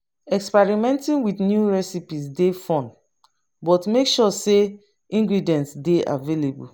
Experimenting with new recipes dey fun, but make sure say ingredients dey available.